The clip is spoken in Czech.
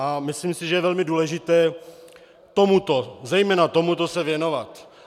A myslím si, že je velmi důležité tomuto, zejména tomuto se věnovat.